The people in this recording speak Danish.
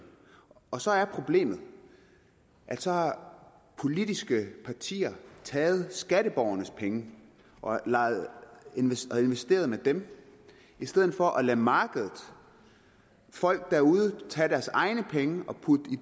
og så er problemet at så har politiske partier taget skatteborgernes penge og har investeret dem i stedet for at lade markedet folk derude tage deres egne penge og putte